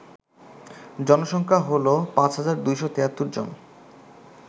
জনসংখ্যা হল ৫২৭৩ জন